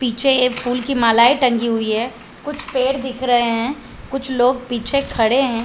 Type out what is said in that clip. पीछे ये फूल मालाये टंगी हुई है। कुछ पेड़ दिख रहे है। कुछ लोग पीछे खड़े है।